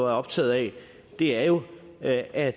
optaget af er jo at at